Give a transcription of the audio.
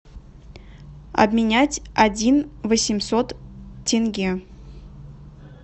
обменять один восемьсот тенге